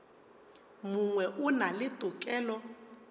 mongwe o na le tokelo